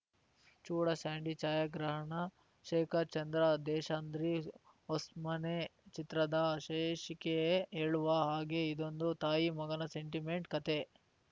ಜೂಡಾ ಸ್ಯಾಂಡಿ ಛಾಯಾಗ್ರಹಣ ಶೇಖರ್‌ ಚಂದ್ರ ದೇಶಾದ್ರಿ ಹೊಸ್ಮನೆ ಚಿತ್ರದ ಶೀರ್ಷಿಕೆಯೇ ಹೇಳುವ ಹಾಗೆ ಇದೊಂದು ತಾಯಿಮಗನ ಸೆಂಟಿಮೆಂಟ್‌ ಕತೆ